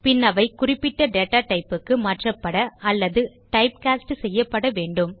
பின் அவை குறிப்பிட்ட datatypeக்கு மாற்றப்பட அல்லது டைப்காஸ்ட் செய்யப்பட வேண்டும்